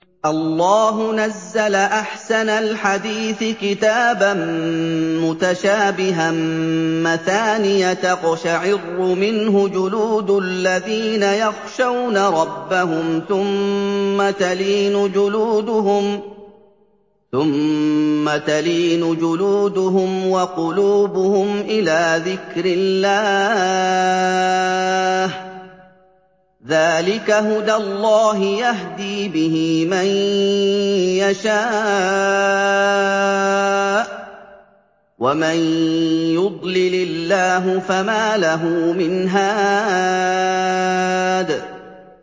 اللَّهُ نَزَّلَ أَحْسَنَ الْحَدِيثِ كِتَابًا مُّتَشَابِهًا مَّثَانِيَ تَقْشَعِرُّ مِنْهُ جُلُودُ الَّذِينَ يَخْشَوْنَ رَبَّهُمْ ثُمَّ تَلِينُ جُلُودُهُمْ وَقُلُوبُهُمْ إِلَىٰ ذِكْرِ اللَّهِ ۚ ذَٰلِكَ هُدَى اللَّهِ يَهْدِي بِهِ مَن يَشَاءُ ۚ وَمَن يُضْلِلِ اللَّهُ فَمَا لَهُ مِنْ هَادٍ